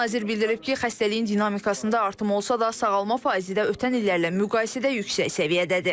Nazir bildirib ki, xəstəliyin dinamikasında artım olsa da, sağalma faizi də ötən illərlə müqayisədə yüksək səviyyədədir.